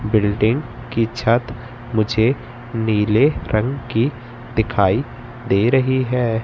Building की छत मुझे नीले रंग की दिखाई दे रही हैं।